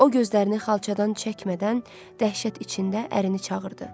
O gözlərini xalçadan çəkmədən dəhşət içində ərini çağırdı.